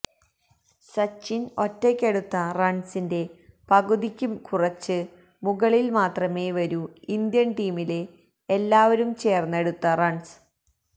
സച്ചിന് ഒറ്റയ്ക്കെടുത്ത റണ്സിന്റെ പകുതിക്ക് കുറച്ച് മുകളില് മാത്രമേ വരൂ ഇന്ത്യന് ടീമിലെ എല്ലാവരും ചേര്ന്നെടുത്ത റണ്സ്